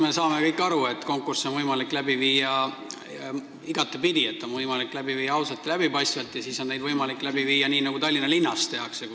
Eks me kõik saame aru, et konkursse on võimalik igatepidi läbi viia: neid on võimalik viia läbi ausalt ja läbipaistvalt ning ka nii, nagu Tallinna linnas tehakse.